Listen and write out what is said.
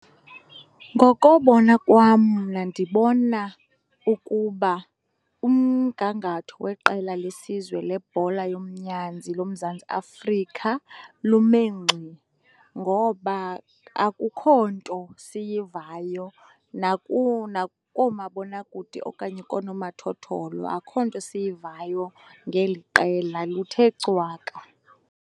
Ngokobona kwam mna ndibona ukuba umgangatho weqela lesizwe lebhola yomnyanzi loMzantsi Afrika lume ngxi, ngoba akukho nto siyivayo nakoomabonakude okanye koonomathotholo akukho nto siyivayo ngeli qela. Luthe cwaka.